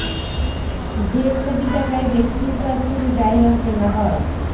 দেড় কোটি টাকায় ব্যক্তির কাছ থেকে জায়গা কেনা হয়